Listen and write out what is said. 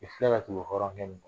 I filɛ ka tugu hɔrɔnkɛ min kɔ